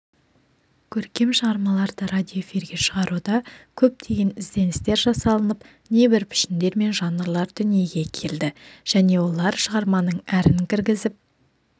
көркем шығармаларды радиоэфирге шығаруда көптеген ізденістер жасалынып небір пішіндер мен жанрлар дүниеге келді және олар шығарманың әрін кіргізіп